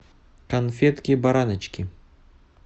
конфетки бараночки